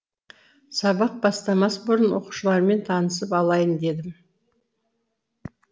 сабақ бастамас бұрын оқушылармен танысып алайын дедім